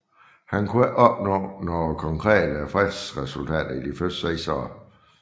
Han kunne ikke opnå nogen konkrete fredsresultater i de første seks år